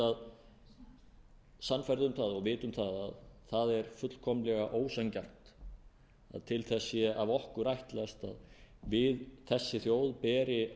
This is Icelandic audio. sannfærð um það og vitum að það er fullkomlega ósanngjarnt að til þess sé af okkur ætlast að við þessi þjóð beri allar